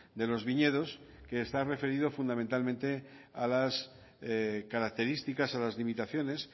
de los viñedos que está referido fundamentalmente a las características a las limitaciones